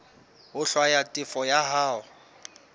ho hlwaya tefo ya hao